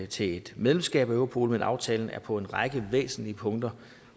til et medlemskab af europol men aftalen er på en række væsentlige punkter